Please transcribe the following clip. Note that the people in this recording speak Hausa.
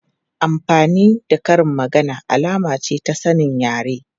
Amfani da karin magana alama ce ta sanin yare.